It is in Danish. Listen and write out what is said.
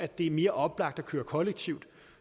det er mere oplagt at køre kollektivt